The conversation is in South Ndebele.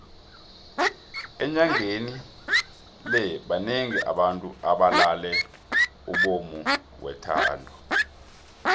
enyangeni le banengi abantu abalale umbumo wethando